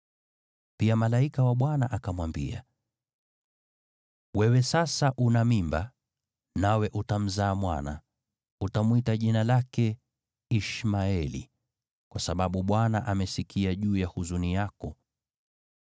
Pia malaika wa Bwana akamwambia: “Wewe sasa una mimba nawe utamzaa mwana. Utamwita jina lake Ishmaeli, kwa sababu Bwana amesikia juu ya huzuni yako.